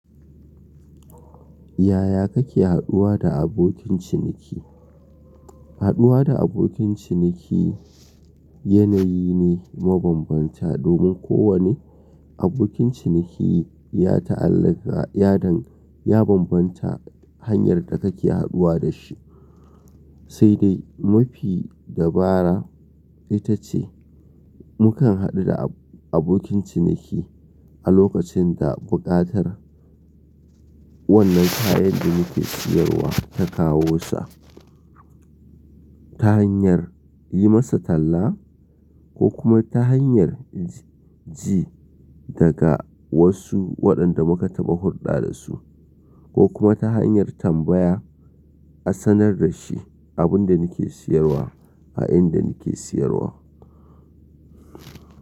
Yaya kake haduwa da abokin ciniki? Haduwa da abokin ciniki yanayi ne mabambanta domin kowane abokin ciniki ya ta'allaka yadan ya bambanta hanyar da kake haduwa da shi, sai dai mafi dabara ita ce mukan hadu da abokin ciniki a lokacin da buƙatar wannan kayan da muke siyarwa ta kawo sa ta hanyar yi masa talla ko kuma ta hanyar ji daga wasu waɗanda muka taɓa hurɗa da su ko kuma ta hanyar tambaya a sanar da shi abin da nake siyarwa a inda nake siyarwa.